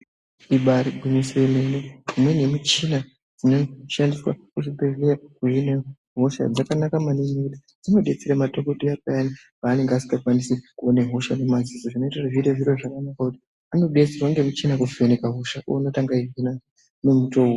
Ibaari gwinyiso yemene imweni yemichina inoshandiswa muzvibhehleya kuhina hosha dzakanaka maningi ngekuti dzinodetsera madhogodheya payani paanenge asingakwanisi kuona hosha nemaziso. Zvinote kuti zviite zviro zvakanaka ngekuti anobetserwa ngemichina kuvheneka hosha oona kuti angaihina nemutowo upi.